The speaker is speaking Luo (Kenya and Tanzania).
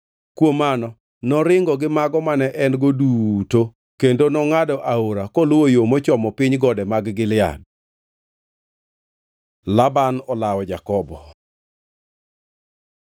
Kuom mano noringo gi mago mane en-go duto, kendo nongʼado Aora koluwo yo mochomo piny gode mag Gilead. Laban olawo Jakobo